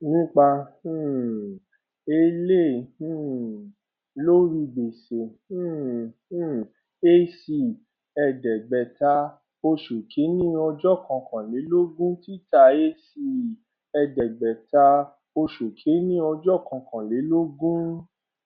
nípa um èlé um lórí gbèsè um um ac ẹẹdẹgbẹta oṣù kìíní ọjọ kọkànlélọgbọn títà ac ẹẹdẹgbẹta oṣù kìíní ọjọ kọkànlélọgbọn